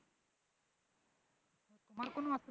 আমার কোনো অসু